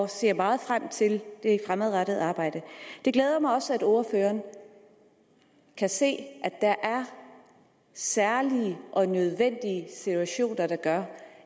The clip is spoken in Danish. ser meget frem til det fremadrettede arbejde det glæder mig også at ordføreren kan se at der er særlige og nødvendige situationer der gør